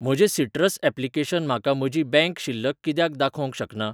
म्हजें citrus application म्हाका म्हजी बँक शिल्लक कित्याक दाखोवंक शकना?